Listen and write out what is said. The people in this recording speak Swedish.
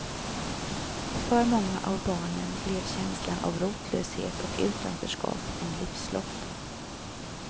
För många av barnen blev känslan av rotlöshet och utanförskap en livslott.